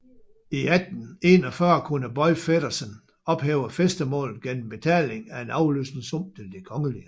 I 1841 kunne Boy Feddersen ophæve fæstemålet gennem betaling af en afløsningssum til det Kgl